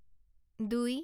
দুই